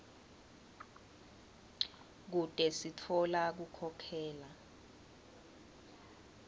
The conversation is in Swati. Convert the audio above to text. kute sitfola kukhokhela